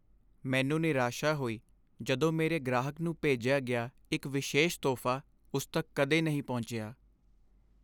ਮੈਨੂੰ ਨਿਰਾਸ਼ਾ ਹੋਈ ਜਦੋਂ ਮੇਰੇ ਗ੍ਰਾਹਕ ਨੂੰ ਭੇਜਿਆ ਗਿਆ ਇੱਕ ਵਿਸ਼ੇਸ਼ ਤੋਹਫ਼ਾ ਉਸ ਤੱਕ ਕਦੇ ਨਹੀਂ ਪਹੁੰਚਿਆ।